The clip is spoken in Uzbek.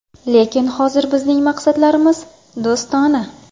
Lekin hozir bizning munosabatlarimiz do‘stona.